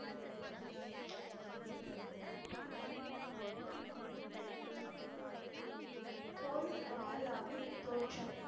whole முஹல்லாவின் தோற்றம்